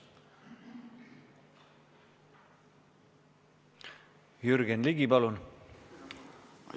Jürgen Ligi, palun!